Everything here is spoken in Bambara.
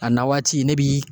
A na waati ne bi